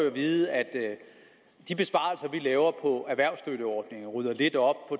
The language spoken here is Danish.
at vide at at de besparelser vi laver på erhvervsstøtteordninger og rydder lidt op